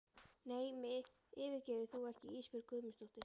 Nei mig yfirgefur þú ekki Ísbjörg Guðmundsdóttir.